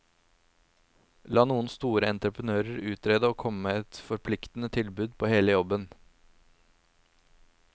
La noen store entreprenører utrede og komme med et forpliktende tilbud på hele jobben.